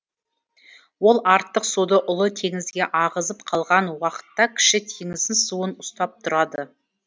ол артық суды ұлы теңізге ағызып қалған уақытта кіші теңіздің суын ұстап тұрады